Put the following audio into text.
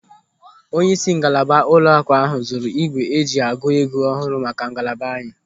Onyeisi ngalaba ụlọaku ahụ zụrụ ígwè eji agụ ego ọhụrụ maka ngalaba anyị.